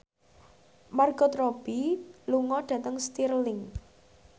Margot Robbie lunga dhateng Stirling